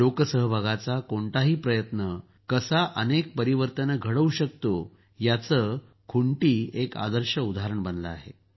लोकसहभागाचा कोणताही प्रयत्न कसा अनेक परिवर्तन घडवू शकतो याचं खुंटी एक आकर्षक उदाहरण बनला आहे